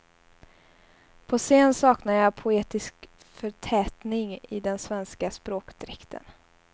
På scenen saknar jag poetisk förtätning i den svenska språkdräkten.